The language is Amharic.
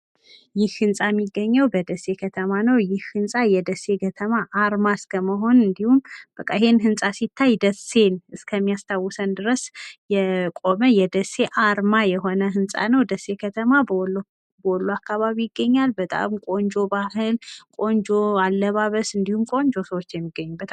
ይህ ህንፃ የሚገኘው በደሴ ከተማ ነው ይህ ህንፃ የደሴ ከተማ አርማ እስከመሆን እንዲሁም በቃ ይሄን ህንጻ ሲታይ ደስን እስከሚያስታውሰን ድረስ የቆመ የደሴ አርማ የሆነ ህንጻ ነው ደሴ ከተማ ወሎ አካባቢ ይገኛል በጣም ቆንጆ ባህል ቆንጆ አለባበስ እንዲሁም ቆንጆ ሰዎች የሚገኙበት